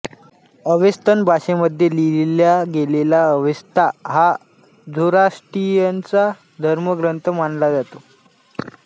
Avestan भाषेमध्ये लिहिला गेलेला अवेस्ता हा झोराष्ट्रियनचा धर्मग्रंथ मानला जातो